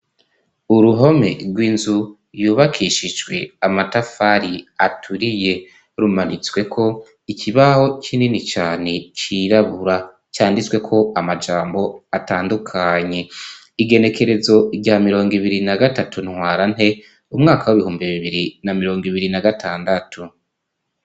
Uruhome rw'inzu yubakishijwe amatafari aturiye rumanitswe ko ikibaho kinini cane cyirabura cyanditswe ko amajambo atandukanye igerekerezo rya mirongo ibiri na gatatu ntwarante umwaka w'ibihumbi bibiri na mirongo ibiri na gatandatu.